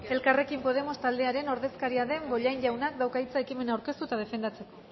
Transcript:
elkarrekin podemos taldearen ordezkaria den bollain jaunak dauka hitza ekimena aurkeztu eta defendatzeko